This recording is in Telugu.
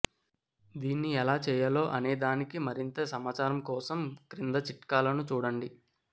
దీన్ని ఎలా చేయాలో అనేదానికి మరింత సమాచారం కోసం క్రింది చిట్కాలను చూడండి